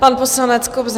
Pan poslanec Kobza.